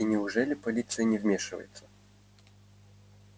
и неужели полиция не вмешивается